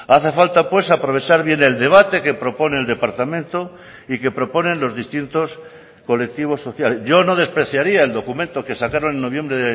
hace falta pues aprovechar bien el debate que propone el departamento y que proponen los distintos colectivos sociales yo no despreciaría el documento que sacaron en noviembre